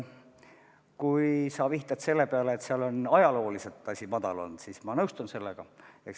Kui sa vihjad sellele, et seal valdkonnas on ajalooliselt palk madal olnud, siis ma nõustun sellega.